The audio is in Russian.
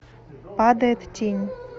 падает тень